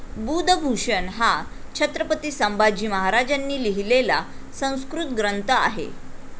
बुधभूषण हा छत्रपती संभाजी महाराजांनी लिहिलेला संस्कृत ग्रंथ आहे.